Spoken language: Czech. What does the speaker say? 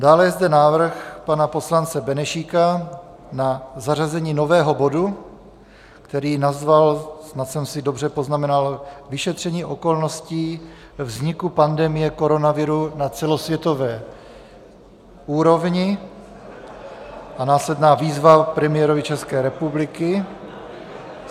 Dále je zde návrh pana poslance Benešíka na zařazení nového bodu, který nazval, snad jsem si dobře poznamenal, vyšetření okolností vzniku pandemie koronaviru na celosvětové úrovni a následná výzva premiérovi České republiky.